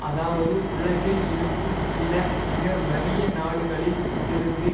அதாவது உலகில் இருக்கும் சில மிக வறிய நாடுகளில் இருந்து